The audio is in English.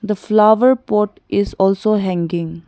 The flower pot is also hanging.